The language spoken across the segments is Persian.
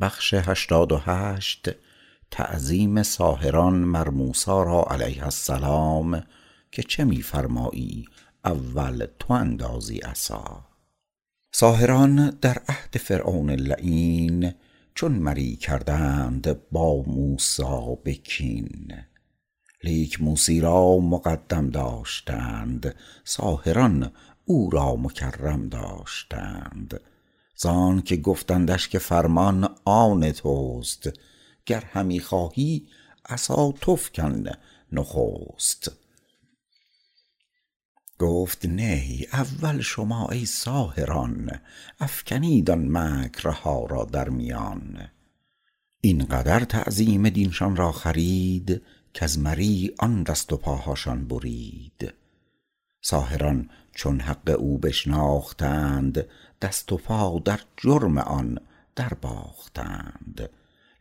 ساحران در عهد فرعون لعین چون مری کردند با موسی بکین لیک موسی را مقدم داشتند ساحران او را مکرم داشتند زانک گفتندش که فرمان آن تست گر همی خواهی عصا تو فکن نخست گفت نی اول شما ای ساحران افکنید ان مکرها را در میان این قدر تعظیم دینشان را خرید کز مری آن دست و پاهاشان برید ساحران چون حق او بشناختند دست و پا در جرم آن در باختند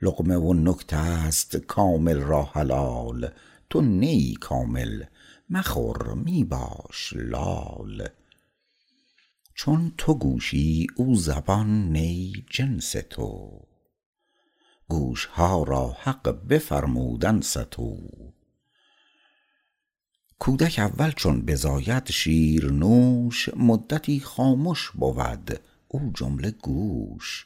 لقمه و نکته ست کامل را حلال تو نه ای کامل مخور می باش لال چون تو گوشی او زبان نی جنس تو گوشها را حق بفرمود انصتوا کودک اول چون بزاید شیرنوش مدتی خامش بود او جمله گوش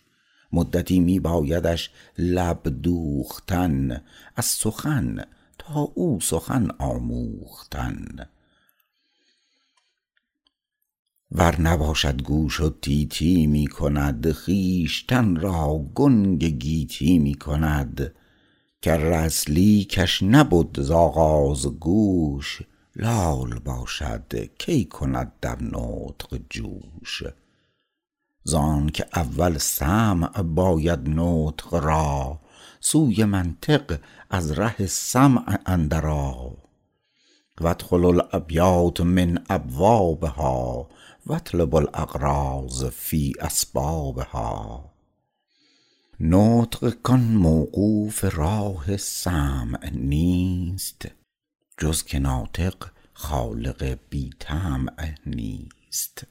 مدتی می بایدش لب دوختن از سخن تا او سخن آموختن ور نباشد گوش و تی تی می کند خویشتن را گنگ گیتی می کند کر اصلی کش نبد ز آغاز گوش لال باشد کی کند در نطق جوش زانکه اول سمع باید نطق را سوی منطق از ره سمع اندر آ وادخلوا الابیات من ابوابها واطلبوا الاغراض فی اسبابها نطق کان موقوف راه سمع نیست جز که نطق خالق بی طمع نیست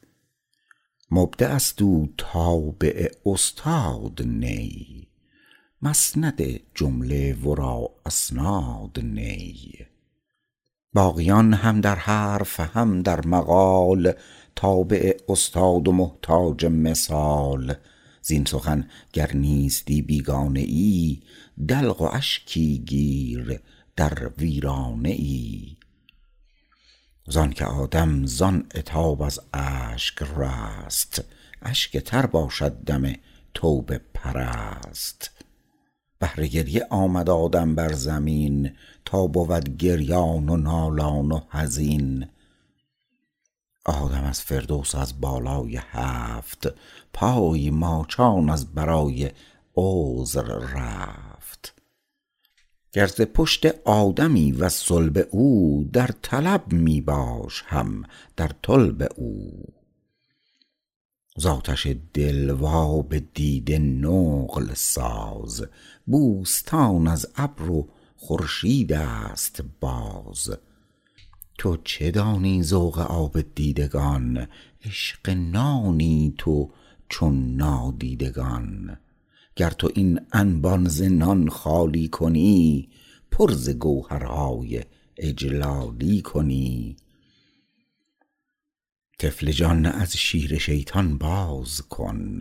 مبدعست او تابع استاد نی مسند جمله ورا اسناد نی باقیان هم در حرف هم در مقال تابع استاد و محتاج مثال زین سخن گر نیستی بیگانه ای دلق و اشکی گیر در ویرانه ای زانک آدم زان عتاب از اشک رست اشک تر باشد دم توبه پرست بهر گریه آمد آدم بر زمین تا بود گریان و نالان و حزین آدم از فردوس و از بالای هفت پای ماچان از برای عذر رفت گر ز پشت آدمی وز صلب او در طلب می باش هم در طلب او ز آتش دل و آب دیده نقل ساز بوستان از ابر و خورشیدست باز تو چه دانی ذوق آب دیدگان عاشق نانی تو چون نادیدگان گر تو این انبان ز نان خالی کنی پر ز گوهرهای اجلالی کنی طفل جان از شیر شیطان باز کن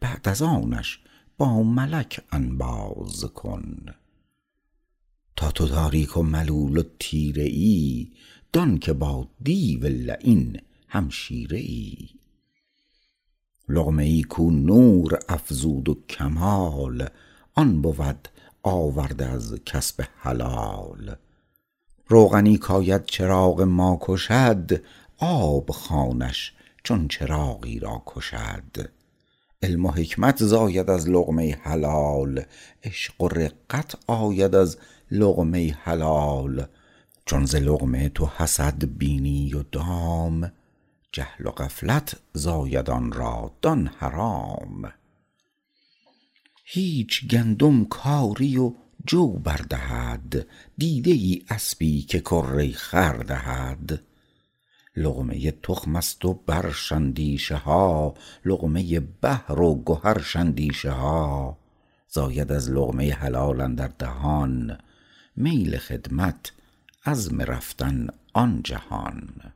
بعد از آنش با ملک انباز کن تا تو تاریک و ملول و تیره ای دان که با دیو لعین همشیره ای لقمه ای کو نور افزود و کمال آن بود آورده از کسب حلال روغنی کاید چراغ ما کشد آب خوانش چون چراغی را کشد علم و حکمت زاید از لقمه حلال عشق و رقت آید از لقمه حلال چون ز لقمه تو حسد بینی و دام جهل و غفلت زاید آن را دان حرام هیچ گندم کاری و جو بر دهد دیده ای اسپی که کره خر دهد لقمه تخمست و برش اندیشه ها لقمه بحر و گوهرش اندیشه ها زاید از لقمه حلال اندر دهان میل خدمت عزم رفتن آن جهان